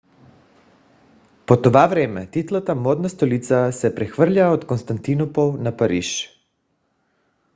по това време титлата модна столица се прехвърля от константинопол на париж